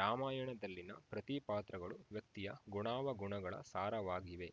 ರಾಮಾಯಣದಲ್ಲಿನ ಪ್ರತಿ ಪಾತ್ರಗಳು ವ್ಯಕ್ತಿಯ ಗುಣಾವಗುಣಗಳ ಸಾರವಾಗಿವೆ